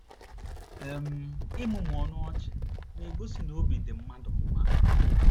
um Ịmụmụ ọnụ ọchị na - egosi na obi dị mmadụ mma.